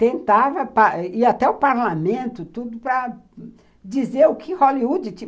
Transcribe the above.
Tentava ir até o parlamento para dizer o que Hollywood tinha.